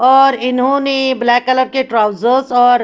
और इन्होने black colour के ट्राउजर्स और--